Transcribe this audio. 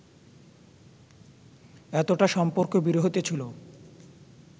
এতটা সম্পর্ক বিরহিত ছিল